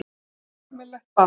Á almennilegt ball.